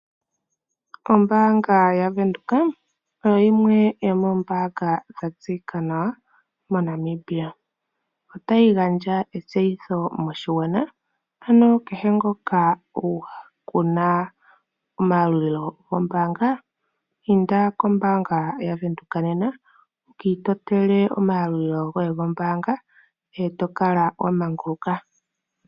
Ombaanga yaVenduka oyo yimwe yomoombaanga dha tseyika nawa moNamibia. Otayi gandja etseyitho moshigwana, ano kehe ngoka ku na omayalulilo gombaanga, inda kombaanga yaVenduka nena wu ka itotele omayalulilo goye gombaanga e to kala wa manguluka.